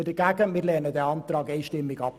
Wir lehnen diesen Antrag einstimmig ab.